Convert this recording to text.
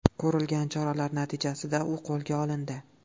Ko‘rilgan choralar natijasida u qo‘lga olindi .